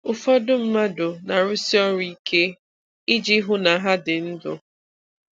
Ụfọdụ mmadụ na-arụsi ọrụ ike iji hụ na ha dị ndụ.